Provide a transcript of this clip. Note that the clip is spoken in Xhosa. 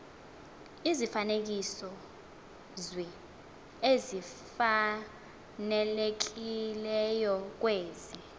izifanekisozwi ezifanelekileyo kwezi